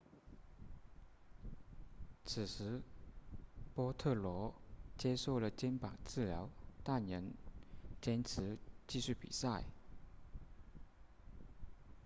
此时波特罗接受了肩膀治疗但仍坚持继续比赛